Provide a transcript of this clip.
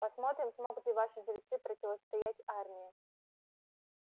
посмотрим смогут ли ваши жрецы противостоять армии